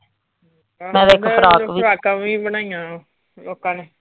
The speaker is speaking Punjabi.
ਫਰਾਕਾਂ ਵੀ ਬਣਾਈਆਂ ਲੋਕਾਂ ਨੇ।